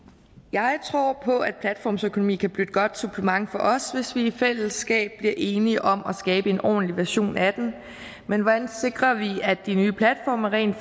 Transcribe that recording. jeg tror på at platformsøkonomi kan blive et godt supplement for os hvis vi i fællesskab bliver enige om at skabe en ordentlig version af den men hvordan sikrer vi at de nye platforme rent